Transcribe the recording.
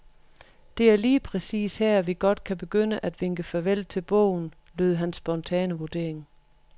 Det er lige præcis her, vi godt kan begynde at vinke farvel til bogen, lød hans spontane vurdering.